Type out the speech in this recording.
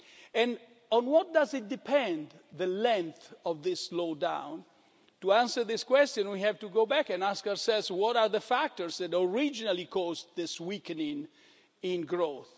And on what does the length of this slowdown depend? To answer this question we have to go back and ask ourselves what are the factors that originally caused this weakening in